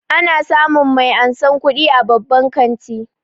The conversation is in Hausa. Ana samun mai ansan kuɗi a babban kanti